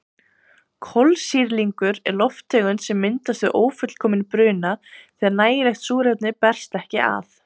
Kolsýrlingur er lofttegund sem myndast við ófullkominn bruna þegar nægilegt súrefni berst ekki að.